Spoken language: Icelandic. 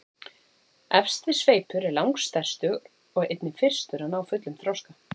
Efsti sveipur er langstærstur og einnig fyrstur að ná fullum þroska.